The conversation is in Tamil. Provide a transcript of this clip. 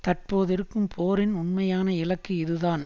தற்போதிருக்கும் போரின் உண்மையான இலக்கு இதுதான்